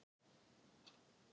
Sá fór í hvalslíki.